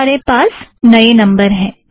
अब हमारे पास नए नम्बर हैं